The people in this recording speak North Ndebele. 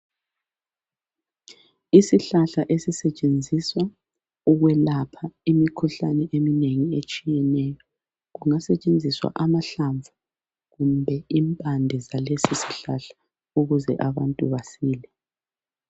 Isihlahla esisetshenziswa ukwelapha imikhuhlane eminengi etshiyeneyo kungasetshenziswa amahlamvu kumbe impande zalesisihlahla ukuze abantu basile